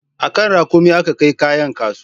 A kan raƙumi aka kai kayan kasuwa